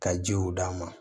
Ka jiw d'a ma